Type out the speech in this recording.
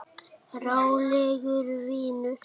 Rólegur vinur!